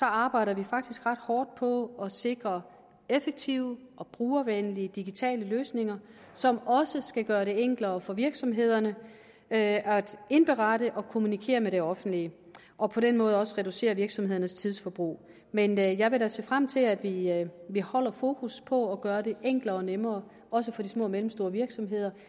arbejder vi faktisk ret hårdt på at sikre effektive og brugervenlige digitale løsninger som også skal gøre det enklere for virksomhederne at indberette til og kommunikere med det offentlige og på den måde også reducere virksomhedernes tidsforbrug men jeg vil da se frem til at vi at vi holder fokus på at gøre det enklere og nemmere også for de små og mellemstore virksomheder